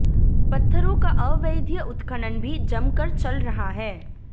पत्थरों का अवैध उत्खनन भी जमकर चल रहा है